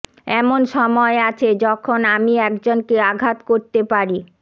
এমন সময় আছে যখন আমি একজনকে আঘাত করতে পারি